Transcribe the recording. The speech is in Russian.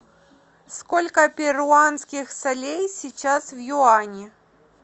сколько перуанских солей сейчас в юани